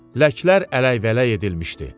Ləklər ələkvələk edilmişdi.